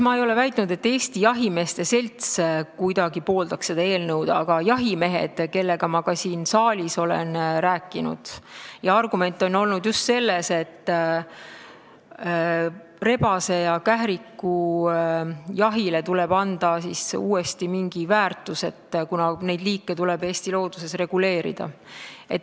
Ma ei ole väitnud, nagu Eesti Jahimeeste Selts kuidagi pooldaks seda eelnõu, aga jahimeestel, kellega ma ka siin saalis olen rääkinud, on olnud see argument, et rebase- ja kährikujahile tuleb anda uuesti mingi väärtus, kuna nende liikide arvukust tuleb Eesti looduses reguleerida.